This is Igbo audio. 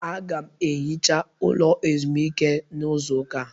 Aga m ehicha ụlọ ezumike n'izu ụka a